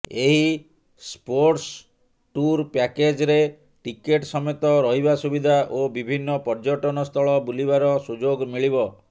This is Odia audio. ଏହି ସ୍ପୋର୍ଟ୍ସ ଟୁର୍ ପ୍ୟାକେଜ୍ରେ ଟିକେଟ୍ ସମେତ ରହିବା ସୁବିଧା ଓ ବିଭିନ୍ନ ପର୍ଯ୍ୟଟନସ୍ଥଳ ବୁଲିବାର ସୁଯୋଗ ମିଳିବ